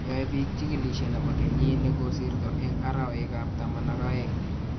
Yoe biik chikilishe ne bo kenyii ne kosirto eng arawekab taman ak aoeng.